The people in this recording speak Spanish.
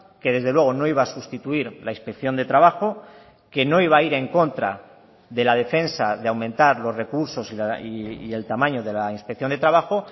que desde luego no iba a sustituir la inspección de trabajo que no iba a ir en contra de la defensa de aumentar los recursos y el tamaño de la inspección de trabajo